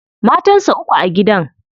Matan sa uku a gidan.